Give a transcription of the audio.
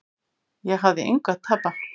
Ég hafði engu að tapa.